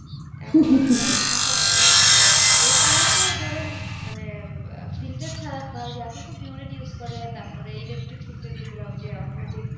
এমন অবস্থা মানে কাঁচা পানির. এছাড়া তো ধরেন মানে অ্যাঁ filter ছাড়া বা ওই এখন তো pure it use করে তারপরে electric filter যেগুলা ওই যে automatic